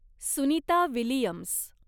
Sunita Williams